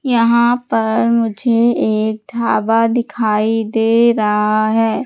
यहां पर मुझे एक ढाबा दिखाई दे रहा है।